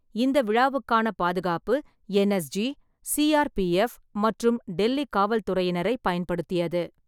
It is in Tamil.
இந்த விழாவுக்கான பாதுகாப்பு என்.எஸ்.ஜி, சி.ஆர்.பி.எஃப் மற்றும் டெல்லி காவல்துறையினரைப் பயன்படுத்தியது.